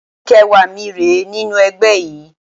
Ọdún kẹẹ̀wá mi rèé nínú ẹgbẹ́ yìí